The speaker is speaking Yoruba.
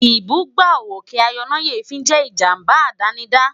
Ìbúgbàù òkè ayọnáyèéfín jẹ́ ìjábá àdánidá